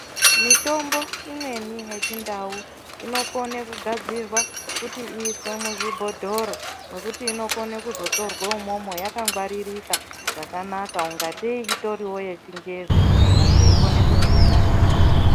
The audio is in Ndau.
Mitombo imweni yechindau inokone kugadzirwa kuti iiswe muzvibhodhoro mwekuti inokone kuzotorwe imwomwo yakangwaririka zvakanaka ngatei itoriwo yechingezi vantu veikone kuzoishandisa